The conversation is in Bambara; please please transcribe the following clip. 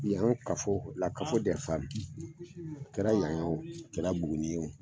Yan kafo a kɛra yan ye a kɛla Buguni ye